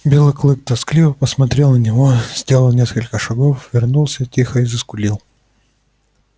белый клык тоскливо посмотрел на него сделал несколько шагов вернулся тихо и заскулил